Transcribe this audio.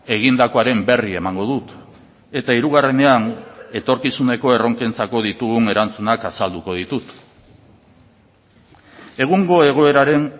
egindakoaren berri emango dut eta hirugarrenean etorkizuneko erronkentzako ditugun erantzunak azalduko ditut egungo egoeraren